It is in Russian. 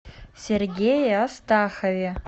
сергее астахове